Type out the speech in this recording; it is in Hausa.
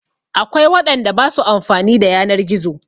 Akwai waɗanda ba su amfani da yanar gizo.